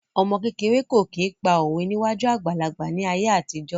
Ọmọ kékeré kò kí n pa òwe níwájú àgbàlagbà ní ayé àtijọ́